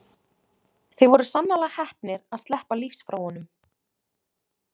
Þið voruð sannarlega heppnir að sleppa lífs frá honum.